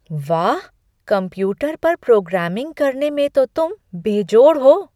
वाह! कंप्यूटर पर प्रोग्रामिंग करने में तो तुम बेजोड़ हो!